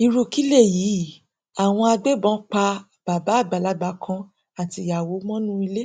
irú kí léyìí àwọn agbébọn pa bàbá àgbàlagbà kan àtìyàwó mọnú ilé